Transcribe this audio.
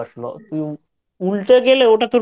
উল্টে গেলে ওটা তোর Boat -এর